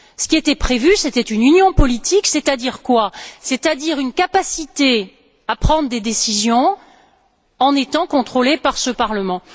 Ce qui était prévu, c'était une union politique, c'est à dire une capacité à prendre des décisions tout en étant contrôlé par ce Parlement.